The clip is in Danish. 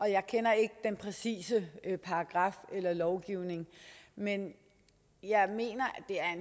jeg kender ikke den præcise paragraf eller lovgivning men jeg mener